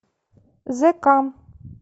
зека